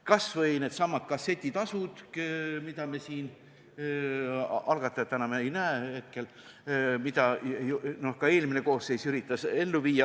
Kas või needsamad kassetitasud, mida me siin oleme arutanud – algatajat ma hetkel ei näe – ja mida ka eelmine koosseis üritas ellu viia.